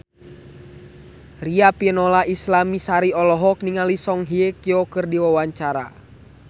Riafinola Ifani Sari olohok ningali Song Hye Kyo keur diwawancara